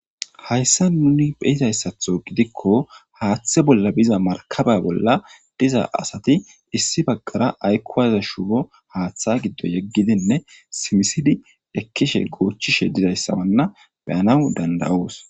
Hayssa nuni phehizayssatho gidikko haaththe bolla biza markaba bolla diza asati issi baggara aykkuwaza shumo haaththa giddo yeggidinne simisidi ekkishe goochishe didayssawanna beyanaw dandayoos.